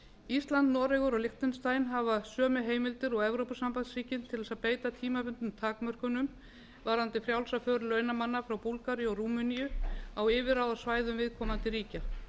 ísland noregur og liechtenstein hafa sömu heimildir og evrópusambandsríkin til að beita tímabundnum takmörkunum varðandi frjálsa för launamanna frá búlgaríu og rúmeníu á yfirráðasvæðum viðkomandi ríkja